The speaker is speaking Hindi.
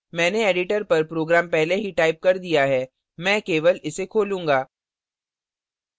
मैंने editor पर program पहले ही टाइप कर दिया है मैं केवल इसे खोलूँगा